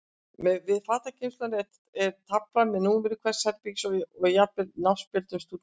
Við fatageymsluna er tafla með númeri hvers herbergis og jafnvel nafnspjöldum stúdenta.